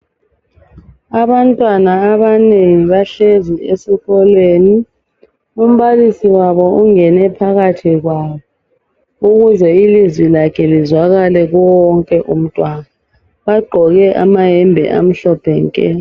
Abantwana abanengi bahlezi esikolweni, umbalisi wabo ungene phakathi kwabo ukuze ilizwi lakhe lizwakale kuye wonke umntwana. Bagqoke amayembe amhlophe nke.